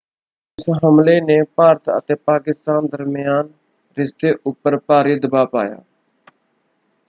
ਇਸ ਹਮਲੇ ਨੇ ਭਾਰਤ ਅਤੇ ਪਾਕਿਸਤਾਨ ਦਰਮਿਆਨ ਰਿਸ਼ਤੇ ਉੱਪਰ ਭਾਰੀ ਦਬਾਅ ਪਾਇਆ।